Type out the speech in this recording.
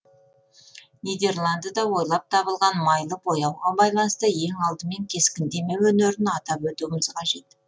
нидерландыда ойлап табылған майлы бояуға байланысты ең алдымен кескіндеме өнерін атап өтуіміз қажет